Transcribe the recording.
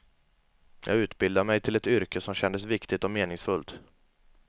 Jag utbildade mig till ett yrke som kändes viktigt och meningsfullt.